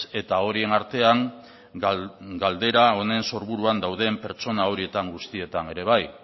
eta horien artean galdera honen sorburuan dauden pertsona horietan guztietan ere bai